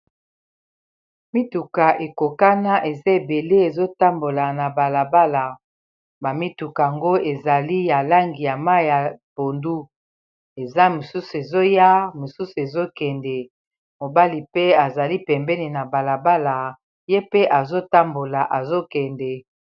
Mituka ekokana eza ebele ezotambola na balabala ba mituka ngo ezali ya langi ya mayi ya pondu eza mosusu ezoya mosusu ezokende mobali pe azali pembeni na balabala ye mpe azotambola ezokende.